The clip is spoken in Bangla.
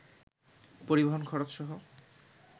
পরিবহণ খরচসহ